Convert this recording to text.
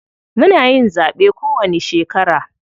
Muna yin zaɓe kowanni shekara.